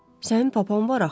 Sənin papan var axı.